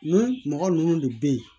Ni mɔgɔ ninnu de bɛ ye